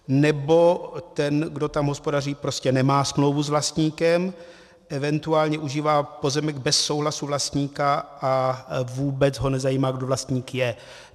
Nebo ten, kdo tam hospodaří, prostě nemá smlouvu s vlastníkem, eventuálně užívá pozemek bez souhlasu vlastníka a vůbec ho nezajímá, kdo vlastník je.